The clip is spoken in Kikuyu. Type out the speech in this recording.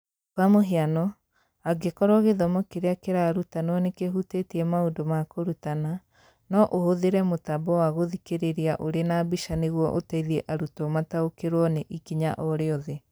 Kwa mũhiano, angĩkorũo gĩthomo kĩrĩa kĩrarutanwo nĩ kĩhutĩtie maũndũ ma kũrutana, no ũhũthĩre mũtambo wa gũthikĩrĩria ũrĩ na mbica nĩguo ũteithie arutwo mataũkĩrũo nĩ ikinya o rĩothe.